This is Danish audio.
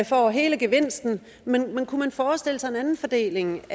får hele gevinsten men kunne man forestille sig en anden fordeling